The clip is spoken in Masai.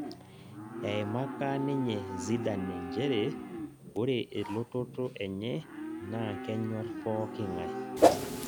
Eimaka ninye Zidane njere ore elototo enye naa kenyor pooking'ae